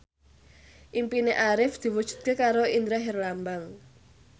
impine Arif diwujudke karo Indra Herlambang